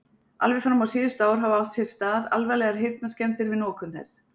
Alveg fram á síðustu ár hafa átt sér stað alvarlegar heyrnarskemmdir við notkun þess.